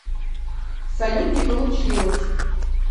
салют не получилось